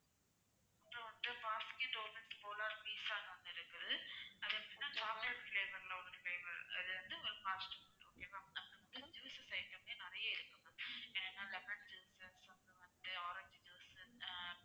pizza னு ஒண்ணு இருக்குது அது எப்படின்னா chocolate flavour ல ஒரு flavour அது வந்து ஒரு fast food okay வா அப்பறம் juices item ல நிறைய இருக்கு ma'am என்னென்னா lemon juice அப்பறம் வந்து orange உ ஆஹ்